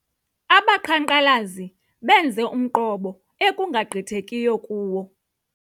Abaqhankqalazi benze umqobo ekungagqithekiyo kuwo.